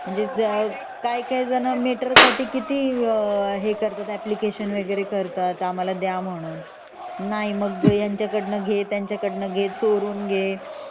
काही काही जणांना ह्याचसाठी मीटर साठी किती अॅप्लिकेशन करतात वगैरे करतात आम्हाला द्या म्हणून नाही मग ह्यांचा कडून घे त्यांचकडून घे मग चोरून घे